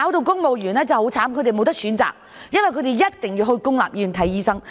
公務員真的很可憐，他們沒有選擇，一定要到公立醫院求診。